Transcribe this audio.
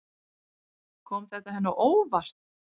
Kom þetta henni á óvart?